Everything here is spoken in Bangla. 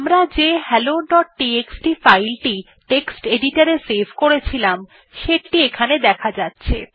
আমরা যে helloটিএক্সটি ফাইল টেক্সট editor এ সেভ করেছিলাম সেটি এখানে দেখা যাচ্ছে